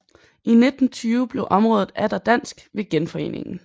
I 1920 blev området atter dansk ved Genforeningen